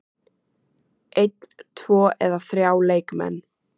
Einn, tvo eða þrjá leikmenn?